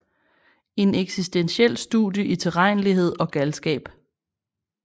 En eksistentiel studie i tilregnelighed og galskab